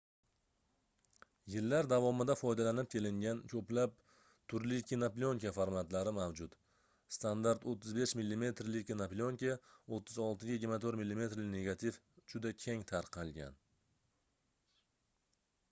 yillar davomida foydalanib kelingan ko'plab turli kinoplyonka formatlari mavjud. standart 35 mm li kinoplyonka 36 ga 24 mm li negativ juda keng tarqalgan